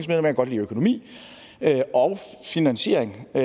jeg kan godt lide økonomi og finansiering det